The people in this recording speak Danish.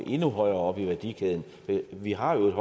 endnu højere oppe i værdikæden vi har jo et